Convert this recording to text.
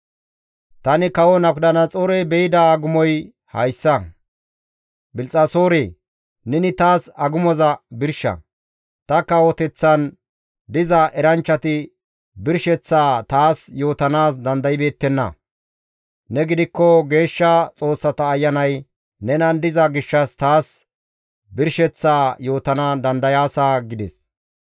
«Tani kawo Nabukadanaxoorey be7ida agumoy hayssa; Bilxxasoore! Neni taas agumoza birsha; ta kawoteththan diza eranchchati birsheththaa taas yootanaas dandaybeettenna; ne gidikko geeshsha xoossata ayanay nenan diza gishshas taas birsheththaa yootana dandayaasa» gides.